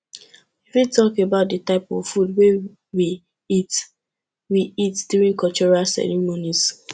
you fit talk about di types of food wey we eat we eat during cultural ceremonies